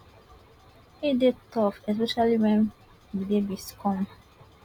e dey tough especially wen di babies come